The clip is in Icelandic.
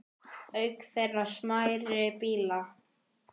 Auk þeirra smærri bílar.